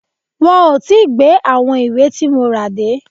Wọn ò tí gbé àwọn ìwé tí mo rà dé.